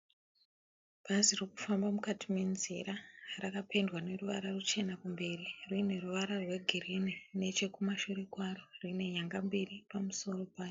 Bhazi ririkufamba mukati menzira rakapendwa neruvara ruchena kumberi rine ruvara rweghirini nechekumashure kwaro, rine nyanga mberi pamusoro paro.